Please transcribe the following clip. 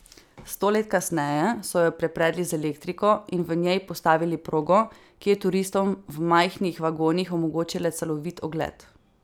Sto let kasneje so jo prepredli z elektriko in v njej postavili progo, ki je turistom v majhnih vagonih omogočila celovit ogled.